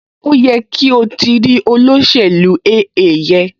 Ó yẹ kí o ti o ti rí olóṣèlú AA yẹn